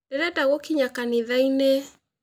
Ndĩrenda gũkinya kanitha-inĩ